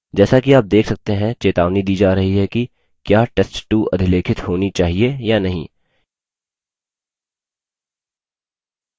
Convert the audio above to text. जैसा कि आप देख सकते हैं चेतावनी दी जा रही है कि क्या test2 अधिलेखित होनी चाहिए या नहीं